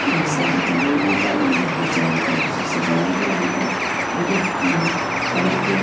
यह शादी का मंडप है मंडप के चारो तरफ से सजाया गया ऊपर आडी क कलर के--